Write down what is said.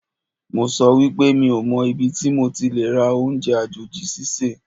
Mo sọ wípé mi ò mọ ibi tí mo ti lè rà oúnjẹ àjòjì sísè